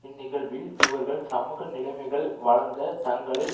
இந்நிகழ்வில் இவர்கள் சமூக நிலைமைகள் வழங்க தங்களை